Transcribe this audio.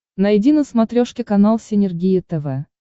найди на смотрешке канал синергия тв